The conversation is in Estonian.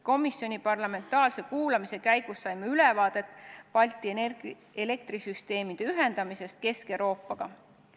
Komisjoni parlamentaarse kuulamise käigus saime ülevaate Balti elektrisüsteemide ühendamisest Kesk-Euroopa süsteemidega.